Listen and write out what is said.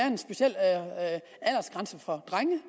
en speciel aldersgrænse for drenge